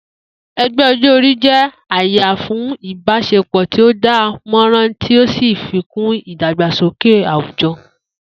E̩gbé̩ o̩jó̩-orí jé̩ àyè fún ìbás̩epò̩ tí ó dán mó̩ràn tí ó sì fikún ìdàgbàsókè àwùjo̩